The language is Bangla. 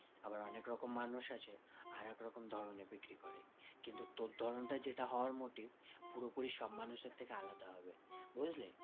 আবার অনেক রকম মানুষ আছে আরেক রকম ধরণের বিক্রি করে। কিন্তু তোর ধরণটা যেটা হওয়ার motive পুরোপুরি সব মানুষের থেকে আলাদা হবে, বুঝলি?